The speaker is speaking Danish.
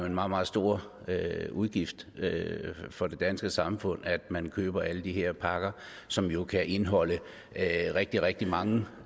en meget meget stor udgift for det danske samfund at man køber alle de her pakker som jo kan indeholde rigtig rigtig mange